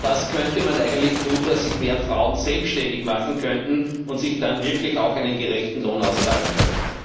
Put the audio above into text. Und was könnte man eigentlich tun, damit sich mehr Frauen selbständig machen können und sich dann wirklich auch einen gerechten Lohn auszahlen können?